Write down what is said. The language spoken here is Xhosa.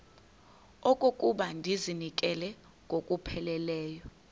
okokuba ndizinikele ngokupheleleyo